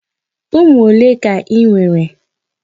Ụmụ ole ka i nwere?